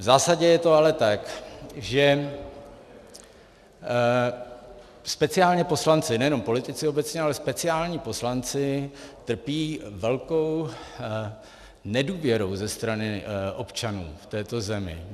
V zásadě je to ale tak, že speciálně poslanci, nejenom politici obecně, ale speciálně poslanci trpí velkou nedůvěrou ze strany občanů v této zemi.